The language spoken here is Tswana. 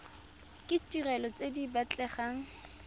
ke ditirelo tse di batlegang